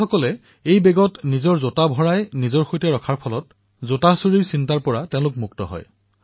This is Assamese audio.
সেই বেগত জোতা নিজৰ সামগ্ৰী ৰখাৰ ফলত প্ৰতিনিধিসকলৰ মনৰ পৰা সামগ্ৰী চুৰি হোৱাৰ দুশ্চিন্তা নোহোৱা হৈছিল